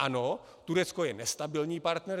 Ano, Turecko je nestabilní partner.